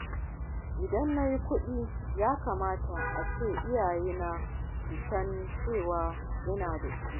In dai na yi kuɗi, ya kamata a ce iyayena su san cewa ina da shi.